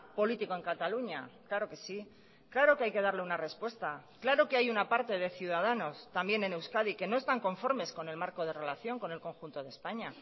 político en cataluña claro que sí claro que hay que darle una respuesta claro que hay una parte de ciudadanos también en euskadi que no están conformes con el marco de relación con el conjunto de españa